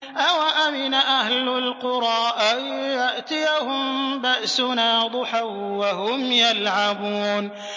أَوَأَمِنَ أَهْلُ الْقُرَىٰ أَن يَأْتِيَهُم بَأْسُنَا ضُحًى وَهُمْ يَلْعَبُونَ